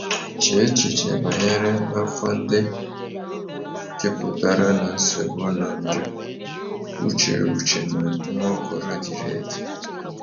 Chee echiche banyere afọ ndị jupụtara na nsogbu na njọ Uche Uche na Nwaokolo diri edi.